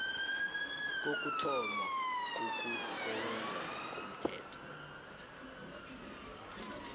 kokuthoma kokusebenza komthetho